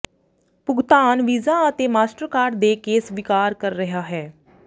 ਭੁਗਤਾਨ ਵੀਜ਼ਾ ਅਤੇ Mastercard ਦੇ ਕੇ ਸਵੀਕਾਰ ਕਰ ਰਿਹਾ ਹੈ